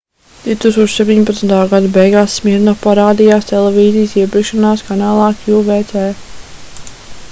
2017. gada beigās smirnoff parādījās televīzijas iepirkšanās kanālā qvc